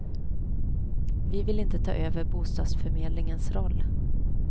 Vi vill inte ta över bostadsförmdlingensroll.